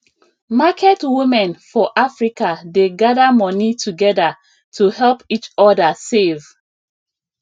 market women for africa dey gather money together to help each other save